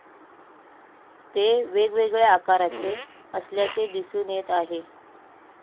ते वेगवेगळ्या आकारचे असल्याचे दिसून येत आहे.